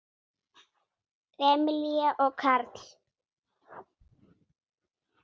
Emilía og Karl.